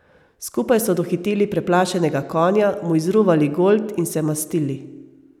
Skupaj so dohiteli preplašenega konja, mu izruvali golt in se mastili.